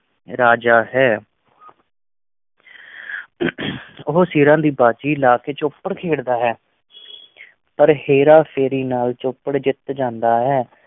ਰਾਜਾ ਹੈ ਉਹ ਸਿਰਾਂ ਦੀ ਬਾਜ਼ੀ ਲਾ ਕੇ ਚੌਪੜ ਖੇਡਦਾ ਹੈ ਪਰ ਹੇਰਾ-ਫੇਰੀ ਨਾਲ ਚੌਪੜ ਜਿੱਤ ਜਾਂਦਾ ਹੈ।